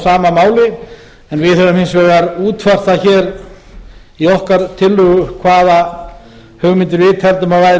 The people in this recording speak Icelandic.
sama máli en við höfum hins vegar útfært það í okkar tillögu hvaða hugmyndir við tæpum að væru